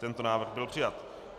Tento návrh byl přijat.